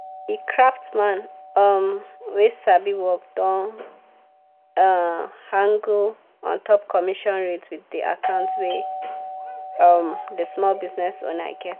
the craftsman um wey sabi work don um haggle ontop commission rates with the account wey um the small business owner get.